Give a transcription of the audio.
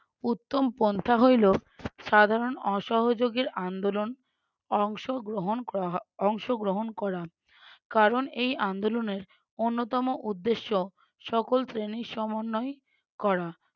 উত্তম পন্থা হইলো সাধারণ অসহোযোগের আন্দোলন অংশগ্রহণ ক~ অংশগ্রহণ করা কারণ এই আন্দোলনের অন্যতম উদ্দেশ্য সকল শ্রেণীর সমন্বয় করা।